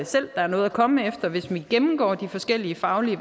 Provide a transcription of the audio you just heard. selv der er noget at komme efter hvis vi gennemgår de forskellige faglige